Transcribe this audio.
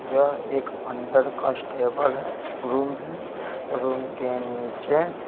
यह एक under constable room है रूम के नीचे--